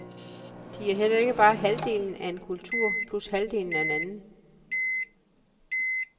De er heller ikke bare halvdelen af en kultur plus halvdelen af en anden.